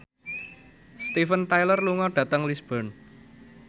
Steven Tyler lunga dhateng Lisburn